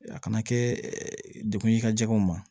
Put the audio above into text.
A kana kɛ dekun ye i ka jɛgɛw ma